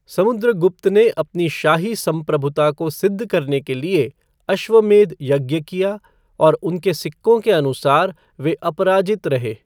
समुद्रगुप्त ने अपनी शाही संप्रभुता को सिद्ध करने के लिए अश्वमेध यज्ञ किया और उनके सिक्कों के अनुसार वे अपराजित रहे।